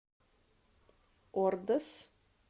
ордос